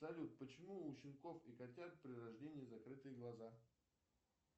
салют почему у щенков и котят при рождении закрытые глаза